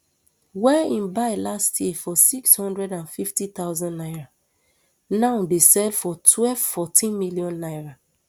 wey im buy last year for six hundred and fifty thousand naira now dey sell from twelve fourteen million naira